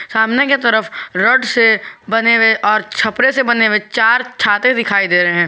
सामने के तरफ रोड से और छपरा से बने हुए चार छाते दिखाई दे रहे हैं।